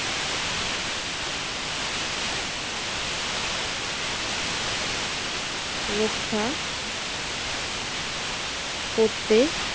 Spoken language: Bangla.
রক্ষা করতে